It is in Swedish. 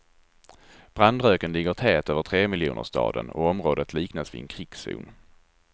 Brandröken ligger tät över tremiljonerstaden och området liknas vid en krigszon.